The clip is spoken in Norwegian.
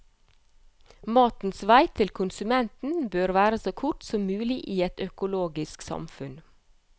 Matens vei til konsumenten bør være så kort som mulig i et økologisk samfunn.